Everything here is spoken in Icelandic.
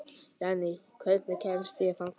Jenni, hvernig kemst ég þangað?